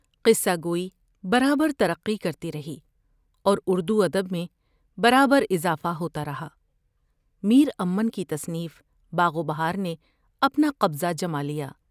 قصہ گوئی برابر ترقی کرتی رہی اور اردوادب میں برابراضافہ ہوتا رہا میرامن کی تصنیف ' باغ و بہار نے اپناقبضہ جمالیا ۔